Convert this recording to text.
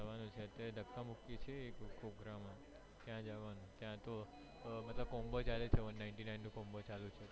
જવાનું છે ધક્કા મુક્કી છે એક program ત્યાં જવાનું માં ત્યાંતો combo ચાલે છે મતલબ one nightly nine combo ચાલે છે